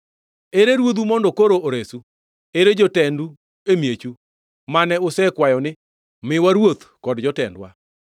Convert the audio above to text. Ere ruodhu mondo koro oresu? Ere jotendu e miechu, mane usekwayo ni, ‘Miwa ruodh kod jotendwa?’